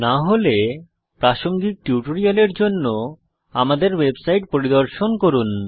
না হলে প্রাসঙ্গিক টিউটোরিয়ালের জন্য আমাদের ওয়েবসাইট পরিদর্শন করুন